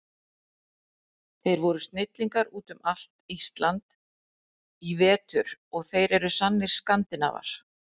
Þeir voru snillingar út um allt Ísland í vetur og þeir eru sannir Skandinavar.